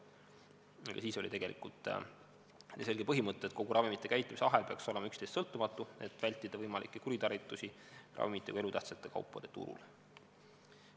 Juba siis oli tegelikult selge põhimõte, et kogu ravimite käitlemise ahel peaks oleks üksteisest sõltumatu, et vältida võimalikke kuritarvitusi ravimite või elutähtsate kaupade turul.